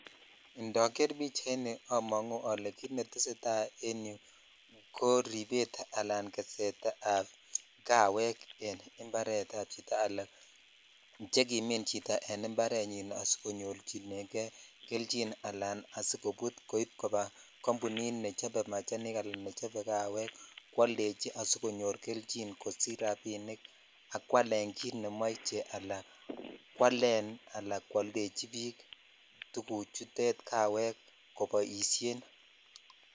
Ndoger pichaini amangu ale kit neteseta en yu ko ribet anan kesetab kawek en imbaretab chito anan chekimin chito en imbarenyin asikinyorchinenge keljin anan asigoput koip koba kampunit nechobe machanik anan nechobe kawek kwaldechi asigonyor keljin asigosich rapinik ak kwalen kit nemoche anan kwalen anan kwaldechi biik tuguchutet kawek koboisien.